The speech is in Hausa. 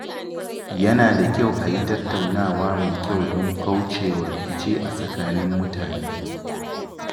Yana da kyau a yi tattaunawa mai kyau don kaucewa rikici a tsakanin mutane.